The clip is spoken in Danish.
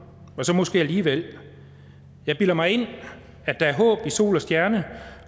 og så måske alligevel jeg bilder mig ind at der er håb i sol og stjerne